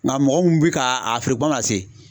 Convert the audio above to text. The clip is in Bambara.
Nka mɔgɔ mun bɛ ka a feere kuma se.